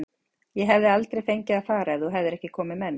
Ég hefði aldrei fengið að fara ef þú hefðir ekki komið með mér.